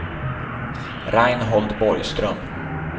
Reinhold Borgström